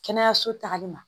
Kɛnɛyaso tagali ma.